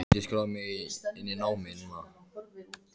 Get ég skráð mig inn í námið núna?